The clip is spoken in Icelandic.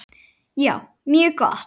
Já, mjög gott.